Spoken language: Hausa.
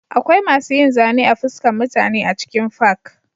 Akwai masu yin zane a fuskan mutane a cikin fak